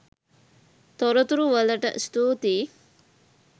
තොරතුරු වලට ස්තුතියි